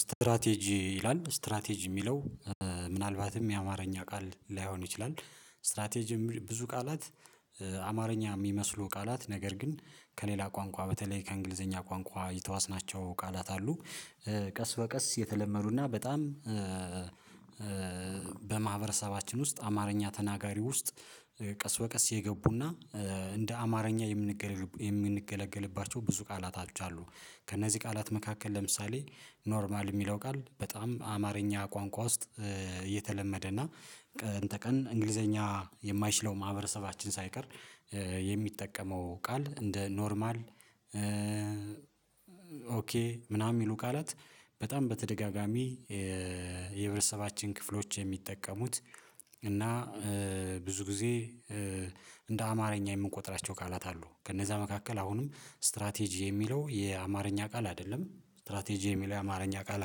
ስትራቴጂ ይላል ስትራቴጂ የሚለው ምናልባትም የአማርኛ ቃል ላይሆን ይችላል። ስትራቴጂ ብዙ ቃላት አማርኛ ሚመስሉ ቃላት ነገር ግን ከሌላ ቋንቋ በተለይ ከእንግሊዘኛ ቋንቋ የተዋስናቸው ቃላት አሉ። ቀስ በቀስ የተለመዱና በጣም በማህበረሰባችን ውስጥ አማርኛ ተናጋሪ ውስጥ ቀስ በቀስ የገቡና እንደ አማርኛ የምንገለገልባቸው ብዙ ቃላቶች አሉ። ከእነዚህ ቃላት መካከል ለምሳሌ ኖርማል ሚለው ቃል በጣም አማርኛ ቋንቋ ውስጥ የተለመደና ቀን ተቀን እንግሊዘኛ የማይችለው ማህበረሰባችን ሳይቀር የሚጠቀመው ቃል እንደ ኖርማል። ኦኬ ምናምን የሚሉ ቃላት በጣም በተደጋጋሚ ክፍሎች የሚጠቀሙት እና ብዙ ጊዜ እንደ አማርኛ የምንቆጥራቸው ቃላት አሉ። ከነዛ መካከል አሁንም ስትራቴጂ የሚለው የአማርኛ ቃል አይደለም ስትራቴጂ የሚለው የአማርኛ ቃል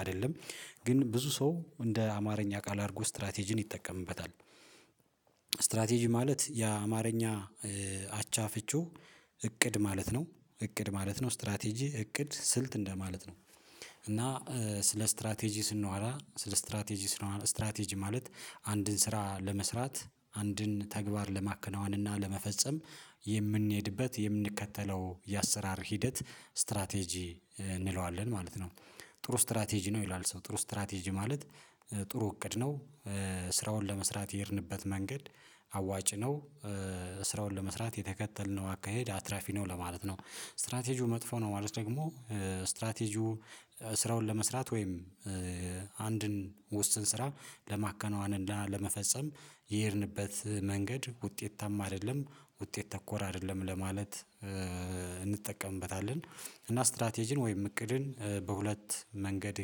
አይደለም ግን ብዙ ሰው እንደ አማርኛ ቃል አርጎ ስትራቴጂን ይጠቀምበታል። ስትራቴጂ ማለት የአማርኛ አቻ ፍቺው እቅድ ማለት ነው እቅድ ማለት ነው ስትራቴጂ እቅድ ስልት እንደማለት ነው። እና ስለ ስትራቴጂ ስናዋራ ስለ ስትራቴጂ ስንዋራ ስትራቴጂ ማለት አንድን ስራ ለመስራት አንድን ተግባር ለማከናወን እና ለመፈጸም የምንሄድበት የምንከተለው የአሰራር ሂደት ስትራቴጂ እንለዋለን ማለት ነው። ጥሩ ስትራቴጂ ነው ይላል ሰው ጥሩ ስትራቴጂ ማለት ጥሩ እቅድ ነው። ስራውን ለመስራት የሄድንበት መንገድ አዋጭ ነው ስራውን ለመስራት የተከተልነው አካሄድ አትራፊ ነው ለማለት ነው። ስትራቴጂው መጥፎ ነው ማለት ደግሞ ስትራቴጂው ስራውን ለመስራት ወይም አንድን ውስን ስራ ለማከናወንና ለመፈጸም የሄድንበት መንገድ ውጤታማ አደለም ዉጤት ተኮር አደለም ለማለት እንጠቀምበታለን። እና ስትራቴጅን ወይም እቅድን በሁለት መንገድ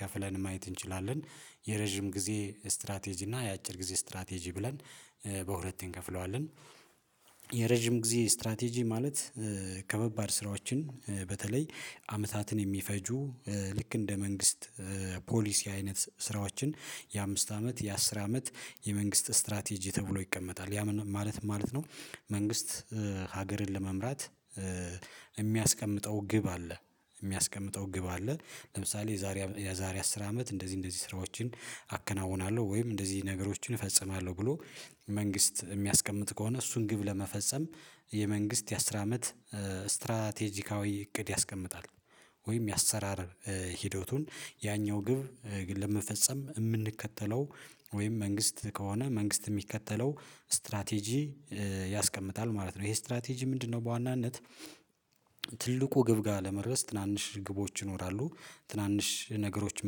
ከፍለን ማየት እንችላለን የረጅም ጊዜ ስትራቴጂ እና የአጭር ጊዜ ስትራቴጂ ብለን በሁለት እንከፍለዋለን። የረጅም ጊዜ ስትራቴጂ ማለት ከባባድ ስራዎችን በተለይ አመታትን የሚፈጁ ልክ እንደ መንግስት ፖሊሲ አይነት ስራዎችን የአምስት አመት የአስር አመት የመንግስት ስትራቴጂ ተብሎ ይቀመጣል ያ ማለት ማለት ነው። መንግስት ሀገርን ለመምራት የሚያስቀምጠው ግብ አለ የሚያስቀምጠው ግብ አለ የዛሬ የዛሬ አስር አመት እንደዚህ እንደዚህ ስራዎችን አከናውናለሁ ወይም እንደዚህ ነገሮችን እፈጽማለሁ ብሎ መንግስት የሚያስቀምጥ ከሆነ እሱን ግብ ለመፈጸም የመንግስት የአስራ አመት ስትራቴጂካዊ እቅድ ያስቀምጣል። ወይም የአሰራር ሂደቱን ያኛው ግብ ለመፈጸም የምንከተለው ወይም መንግስት ከሆነ መንግስት የሚከተለው ስትራቴጂ ያስቀምጣል ማለት ነው። ይሄ ስትራቴጂ ምንድነው? በዋናነት ትልቁ ግብ ጋር ለመድረስ ትናንሽ ግቦች ይኖራሉ ትናንሽ ነገሮች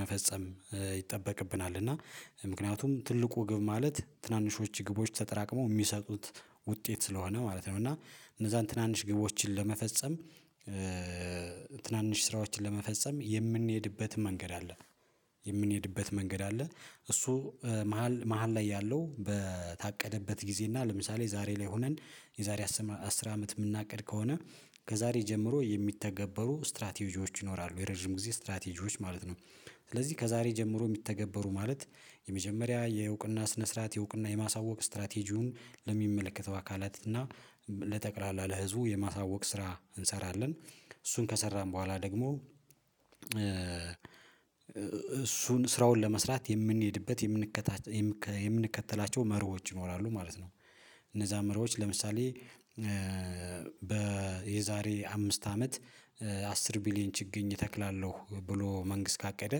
መፈጸም ይጠበቅብናል እና ምክንያቱም ትልቁ ግብ ማለት ትናንሾች ግቦች ተጠራቅመው ሚሰጡት ውጤት ስለሆነ ማለት ነው። እና እነዛን ትናንሽ ግቦችን ለመፈጸም ትናንሽ ስራዎችን ለመፈጸም የምንሄድበት መንገድ አለ። የምንሄድበት መንገድ አለ እሱ መሃል መሃል ላይ ያለው በታቀደበት ጊዜ እና ለምሳሌ ዛሬ ላይ ሆነን የዛሬ አስር አመት ምናቅድ ከሆነ ከዛሬ ጀምሮ የሚተገበሩ ስትራቴጂዎች ይኖራሉ የረጅም ጊዜ ስትራቴጂዎች ማለት ነው። ስለዚህ ከዛሬ ጀምሮ የሚተገበሩ ማለት የመጀመሪያ የውቅና ስነ ስርዓት የውቅና የማሳወቅ ስትራቴጂውን ለሚመለከተው አካላት እና ለጠቅላላ ለህዝቡ የማሳወቅ ስራ እንሰራለን እሱን ከሰራን በኋላ ደግሞ እሱን ስራውን ለመስራት የምንሄድበት የምንከተላቸው መርሆች ይኖራሉ ማለት ነው። እነዛ መርሆች ለምሳሌ በየዛሬ አምስት አመት አስር ቢሊየን ችግኝ እተክላለሁ ብሎ መንግስት ካቀደ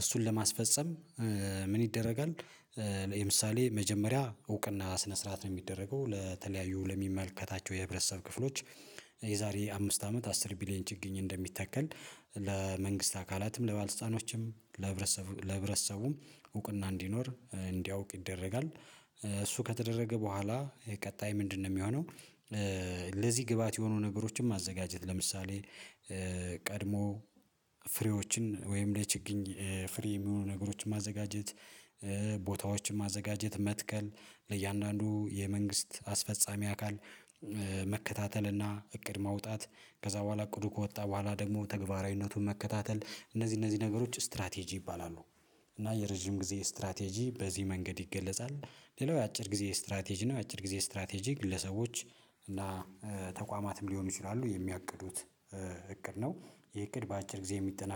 እሱን ለማስፈፀም ምን ይደረጋል? ለምሳሌ መጀመሪያ እውቅና ስነ ስርዓት ነው የሚደረገው ለተለያዩ ለሚመልከታቸው የህብረተሰብ ክፍሎች የዛሬ አምስት አመት አስር ቢሊየን ችግኝ እንደሚታከል ለመንግስት አካላትም ለባልስጣኖችም ለህብረተሰብ ለህብረተሰቡም እውቅና እንዲኖር እንዲያውቅ ይደረጋል። እሱ ከተደረገ በኋላ ቀጣይ ምንድነው? ሚሆነው ለዚህ ግባት የሆኑ ነገሮችን ማዘጋጀት ለምሳሌ ቀድሞ ፍሬዎችን ወይም ለችግኝ ፍሬ የሚሆኑ ነገሮችን ማዘጋጀት ቦታዎችን ማዘጋጀት መትከል ለእያንዳንዱ የመንግስት አስፈጻሚ አካል መከታተልና እቅድ ማውጣት ከዛ በኋላ ቅዱ ከወጣ በኋላ ደግሞ ተግባራዊነቱን መከታተል እነዚህ እነዚህ ነገሮች ስትራቴጂ ይባላሉ። እና የረጅም ጊዜ ስትራቴጂ በዚህ መንገድ ይገለጻል። ሌላው የአጭር ጊዜ ስትራቴጂ ነው የአጭር ጊዜ ስትራቴጂ ግለሰቦች እና ተቋማትም ሊሆኑ ይችላሉ የሚያቅዱት እቅድ ነው። ይሄ እቅድ በአጭር ጊዜ የሚጠናቀቅ